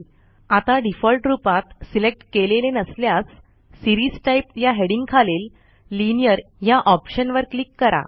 आता डिफॉल्ट रूपात सिलेक्ट केलेले नसल्यास सीरीज टाइप ह्या हेडिंग खालील लिनिअर ह्या ऑप्शनवर क्लिक करा